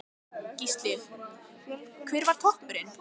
Gísli: Hver var toppurinn?